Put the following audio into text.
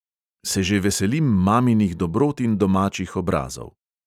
Se že veselim maminih dobrot in domačih obrazov.